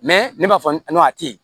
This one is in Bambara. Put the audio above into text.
ne b'a fɔ n ko a tɛ yen